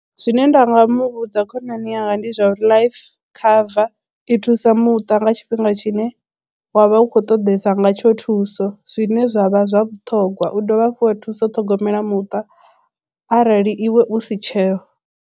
Zwine nda nga mu vhudza khonani yanga ndi zwa uri life cover i thusa muṱa nga tshifhinga tshine wa vha u khou ṱoḓesa ngatsho thuso zwine zwa vha zwa vhuṱhogwa u dovha hafhu wa thusa u ṱhogomela muṱa arali iwe u si tsheho.